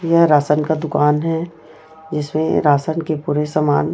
यह राशन का दुकान है जिसमें राशन के पुरे सामान--